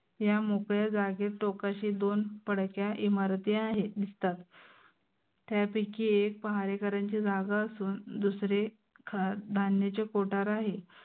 या मोकळ्या जागेत टोकाशी दोन पड्याच्या इमारती आहेत. दिसतात. त्यापैकी एक पहारेकर्यांची जागा असून दुसरे धान्याचे कोठार आहे.